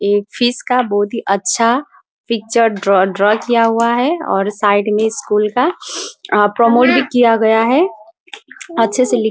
एक फिश का बहुत ही अच्छा पिक्चर ड्रा ड्रा किया हुआ है और साइड में स्कूल का अअ प्रमोट भी किया गया है । अच्छे से लिख--